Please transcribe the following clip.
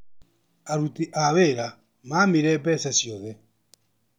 Aruti a wĩra mamire mbeca ciothe.